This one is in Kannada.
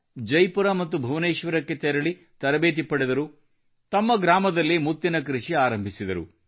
ಜೈಪುರ ಮತ್ತು ಭುವನೇಶ್ವರಕ್ಕೆ ತೆರಳಿ ತರಬೇತಿ ಪಡೆದರು ಮತ್ತು ತಮ್ಮ ಗ್ರಾಮದಲ್ಲೇ ಮುತ್ತಿನ ಕೃಷಿ ಆರಂಭಿಸಿದರು